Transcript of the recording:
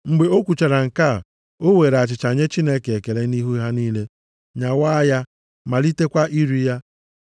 Mgbe o kwuchara nke a, o weere achịcha nye Chineke ekele nʼihu ha niile, nyawaa ya, malitekwa iri ya.